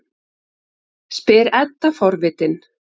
spyr Edda forvitin.